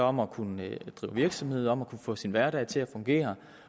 om at kunne drive virksomhed og om at kunne få sin hverdag til at fungere